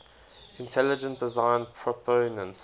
intelligent design proponents